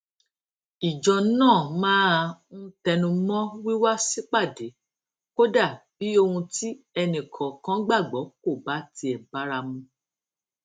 ìjọ náà máa ń tẹnu mó wíwá sípàdé kódà bí ohun tí ẹnì kòòkan gbàgbó kò bá tiè bára mu